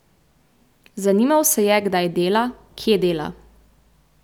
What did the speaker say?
Zanimal se je kdaj dela, kje dela.